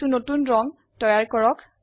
কিছু নতুন ৰং তৈয়াৰ কৰক